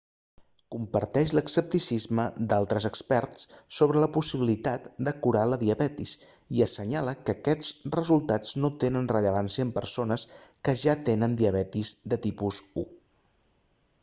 comparteix l'escepticisme d'altres experts sobre la possibilitat de curar la diabetis i assenyala que aquests resultats no tenen rellevància en persones que ja tenen diabetis de tipus 1